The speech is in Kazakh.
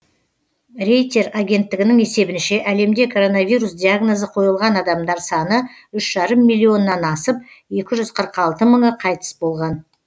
рейтер агенттігінің есебінше әлемде коронавирус диагнозы қойылған адамдар саны үш жарым миллионнан асып екі жүз қырық алты мыңы қайтыс болған